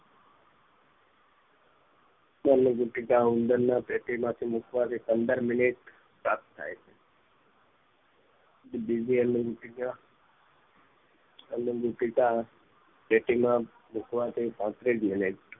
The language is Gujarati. સમસ્યા પેટી ઉંદર ના પેટીમાંથી મુકવાથી પંદર મિનીટ પ્રાપ્ત થાય છે બીજી અન્ન પેટીકા પેટીમાં મુકવાથી પાંત્રીસ મિનીટ